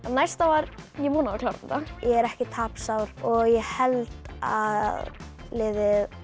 næsta var ég vona að við klárum þetta ég er ekki tapsár og ég held að liðið